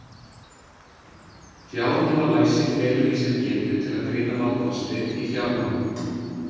Fjármálalæsi felur í sér getu til að greina valkosti í fjármálum.